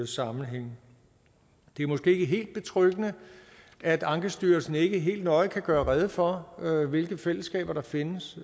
sammenhænge det er måske ikke helt betryggende at ankestyrelsen ikke helt nøje kan gøre rede for hvilke fællesskaber der findes